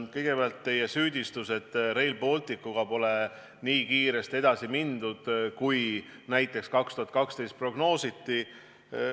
Kõigepealt teie süüdistus, et Rail Balticuga pole nii kiiresti edasi mindud, kui näiteks 2012 prognoositi.